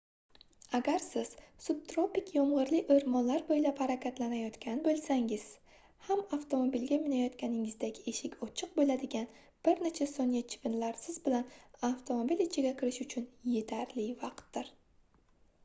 agar siz subtropik yomgʻirli oʻrmonlar boʻylab harakatlanayotgan boʻlsangiz ham avtomobilga minayotganingizdagi eshik ochiq boʻladigan bir necha soniya chivinlarning siz bilan avtomobil ichiga kirishi uchun yetarli vaqtdir